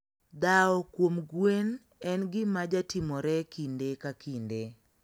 Dhao kuom gwen en gina jatimore kinde ka kinde.